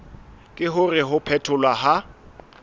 ke hore ho phetholwa ha